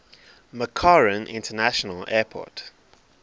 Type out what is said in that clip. mccarran international airport